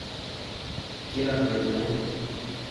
Kiabeet naet.